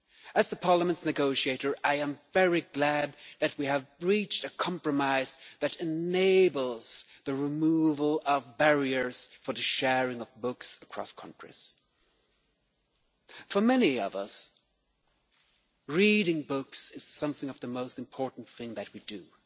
As Parliament's negotiator, I am very glad that we have reached a compromise that enables the removal of barriers to the sharing of books across countries. For many of us, reading books is one of the most important things that we do,